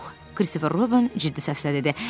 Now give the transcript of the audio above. Kristofer Robin ciddiləşdi və dedi: